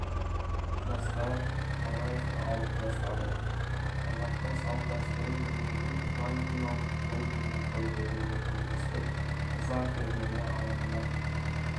жастар қонаевты алып тастады қазақтың салт-дәстүрін білмейтін украиналық колбинді қойды дегенді естіп ыза кернеді алаңда